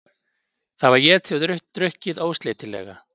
Það var étið og drukkið ósleitilega.